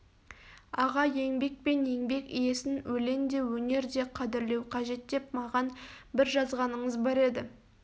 аға еңбек пен еңбек иесін өленде өнерде қадірлеу қажет деп маған бір жазғаныңыз бар еді